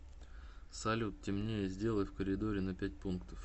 салют темнее сделай в коридоре на пять пунктов